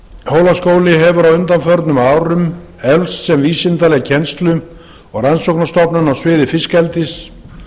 hólaskóli hefur á undanförnum árum eflst sem vísindaleg kennslu og rannsóknarstofnun á svið fiskeldis